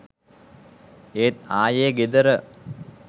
ඒත් ආයේ ගෙදර.